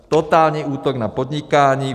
Totální útok na podnikání!